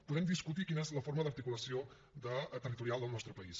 podem discutir quina és la forma d’articulació territorial del nostre país